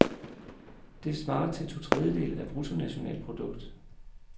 Det svarer til to tredjedele af bruttonationalprodukt.